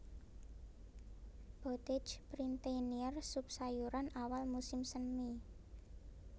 Potage Printanier sup sayuran awal musim semi